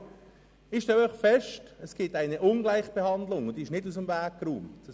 Ich stelle einfach fest, dass eine Ungleichbehandlung besteht, die nicht aus dem Weg geräumt worden ist.